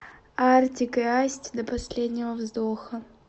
артик и асти до последнего вздоха